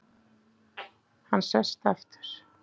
Hann sest aftur.